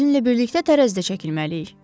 Sizinlə birlikdə tərəzidə çəkilməliyik.